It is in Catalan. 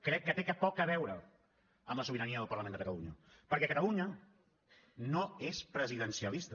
crec que té poc a veure amb la sobirania del parlament de catalunya perquè catalunya no és presidencialista